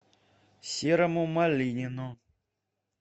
серому малинину